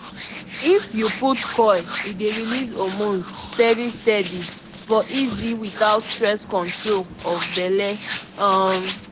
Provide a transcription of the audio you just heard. if u put coil e dey release hormones steady steady for easy without stress control of belle um